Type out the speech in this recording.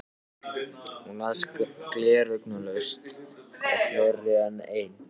Hún las gleraugnalaust á fleiri en einn